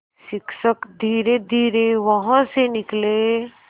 शिक्षक धीरेधीरे वहाँ से निकले